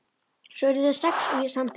Svo urðu þeir sex og ég samþykkti.